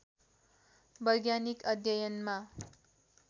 वैज्ञानिक अध्ययनमा